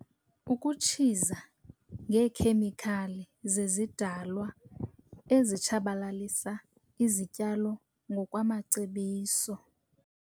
Ukutshiza ngeekhemikhali zezidalwa ezitshabalalisa izityalo ngokwamacebiso.